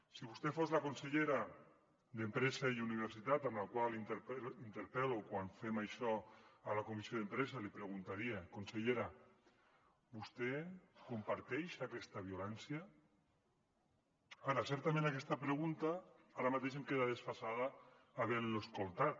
si vostè fos la consellera d’empresa i universitat a la qual interpel·lo quan fem això a la comissió d’empresa li preguntaria consellera vostè comparteix aquesta violència ara certament aquesta pregunta ara mateix em queda desfasada havent lo escoltat